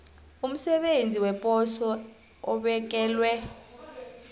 umsebenzi weposo obekelwe